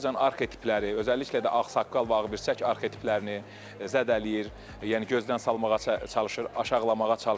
Azərbaycan arxetipləri, özəlliklə də ağsaqqal və ağbirçək arxetiplərini zədələyir, yəni gözdən salmağa çalışır, aşağılamağa çalışır.